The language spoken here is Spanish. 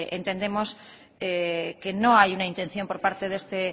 entendemos que no hay una intención por parte de este